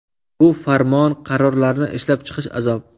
Bu farmon, qarorlarni ishlab chiqish azob.